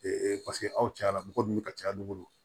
paseke aw cayala mɔgɔ min be ka caya n'u bolo